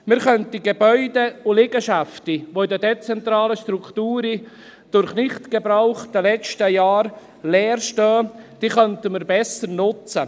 Man könnte Gebäude und Liegenschaften, die in den dezentralen Strukturen in den letzten Jahren durch Nicht-Gebrauch leer standen, besser nutzen.